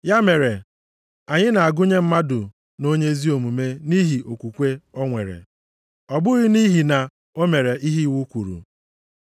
Ya mere, anyị na-agụnye mmadụ nʼonye ezi omume nʼihi okwukwe o nwere, ọ bụghị nʼihi na o mere ihe iwu kwuru.